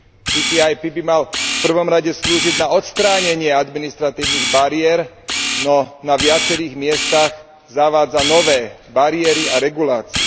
TTIP by malo v prvom rade slúžiť na odstránenie administratívnych bariér, no na viacerých miestach zavádza nové bariéry a regulácie.